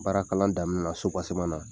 Baara kalan daminɛ na na.